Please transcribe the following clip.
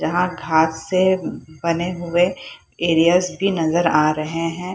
यहां घास से बने हुए एरियाज भी नजर आ रहे हैं।